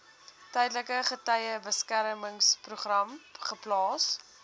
tydelike getuiebeskermingsprogram geplaas